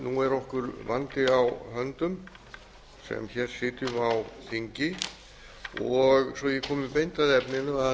nú er okkur vandi á höndum sem hér sitjum á þingi svo ég komi beint að